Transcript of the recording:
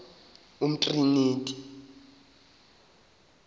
umtriniti